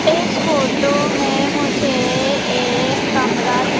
इस फोटो में मुझे एक कमरा दि--